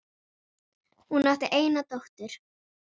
Hún átti eina dóttur.